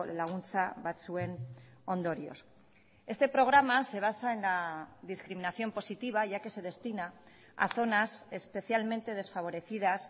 laguntza batzuen ondorioz este programa se basa en la discriminación positiva ya que se destina a zonas especialmente desfavorecidas